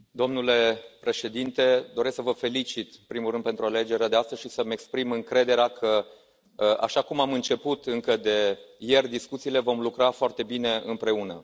Domnule Președinte, doresc să vă felicit, în primul rând, pentru alegerea de astăzi și să îmi exprim încrederea că, așa cum am început încă de ieri discuțiile, vom lucra foarte bine împreună.